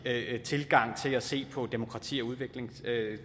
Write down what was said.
tilgang til at se på demokrati og udvikling